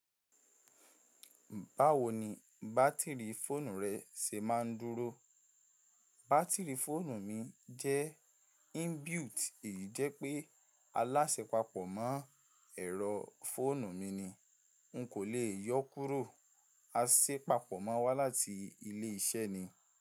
Báwo ni bátìrì fóònù rẹ ṣe máa ń dúró? Bátìrì fóònù mi jẹ́ inbuilt, èyí jẹ́ pé aláṣẹ papọ̀ mọ́ ẹ̀rọ fóònù mi ni. N kò lè yọ́ kúrò. A ṣe papọ̀ mọ́ wá láti ilé iṣẹ́ ni.